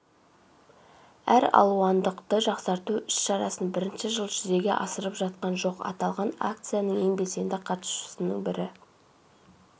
әралуандылықты жақсарту іс-шарасын бірінші жыл жүзеге асырып жатқан жоқ аталған акцияның ең белсенді қатысушысының бірі